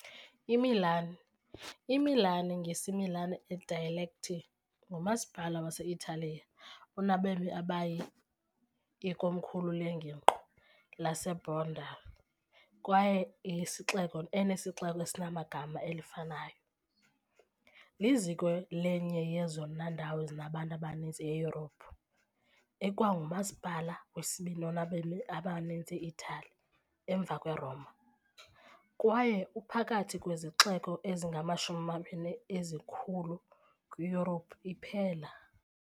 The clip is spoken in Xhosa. IMilan, "iMilan" ngesiMilanese dialect, ngumasipala wase-Italiya onabemi abayi, ikomkhulu lengingqi yaseLombardy kwaye yesixeko esinesixeko esinegama elifanayo, liziko lenye yezona ndawo zinabantu abaninzi eYurophu, ikwangumasipala wesibini onabemi abaninzi e-Itali, emva kweRoma, kwaye uphakathi kwezixeko ezingamashumi amabini ezikhulu kwiYurophu iphela.